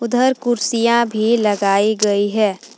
उधर कुर्सियां भी लगाई गई है।